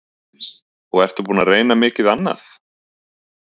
Þóra Kristín: Og ertu búinn að reyna mikið annað?